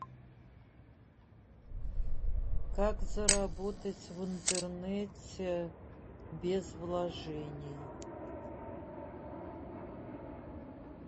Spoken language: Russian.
как заработать в интернете без вложений